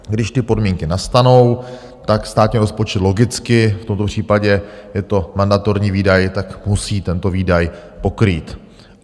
Když ty podmínky nastanou, tak státní rozpočet logicky v tomto případě, je to mandatorní výdaj, tak musí tento výdaj pokrýt.